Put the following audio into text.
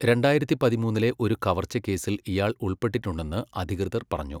രണ്ടായിരത്തി പതിമൂന്നിലെ ഒരു കവർച്ചക്കേസിൽ ഇയാൾ ഉൾപ്പെട്ടിട്ടുണ്ടെന്ന് അധികൃതർ പറഞ്ഞു.